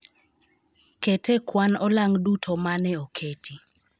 Ket e kwan olang' duto mane oketi